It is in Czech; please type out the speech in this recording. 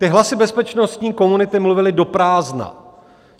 Ty hlasy bezpečnostní komunity mluvily do prázdna.